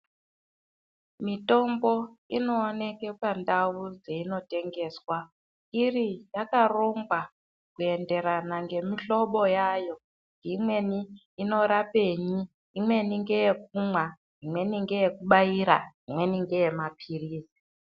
Mitombo inooneke pandau dzeinotengeswa iri yakarongwa kuenderana ngemihlobo yayo imweni inorapenyi, imweni ngeyekumwa. Imweni ngeyekubaira, imweni ngeye maphirizi.